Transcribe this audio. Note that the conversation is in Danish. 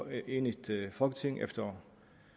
enigt folketing efter